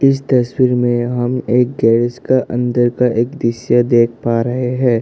इस तस्वीर में हम एक गैरेज का अंदर का एक दृश्य देख पा रहे हैं।